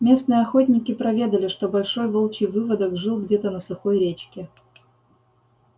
местные охотники проведали что большой волчий выводок жил где-то на сухой речке